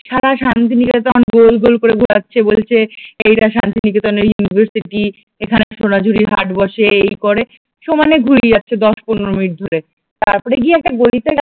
সারা শান্তিনিকেতন গোল গোল করে ঘুরাচ্ছে বলছে এটা শান্তিনিকেতনের ইউনিভার্সিটি, এখানে সোনাঝুরির হাট বসে এই করে সমানে ঘুরিয়ে যাচ্ছে দশ-পনেরো মিনিট ধরে তারপরে গিয়ে একটা গলিতে গিয়ে